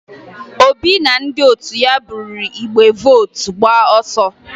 Obi na ndị otu ya buru igbe vootu gbaa ọsọ